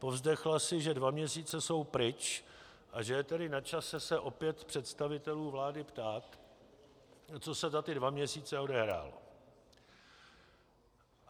Povzdechla si, že dva měsíce jsou pryč a že je tedy na čase se opět představitelů vlády ptát, co se za ty dva měsíce odehrálo.